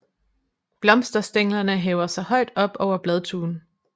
Blomsterstænglerne hæver sig højt op over bladtuen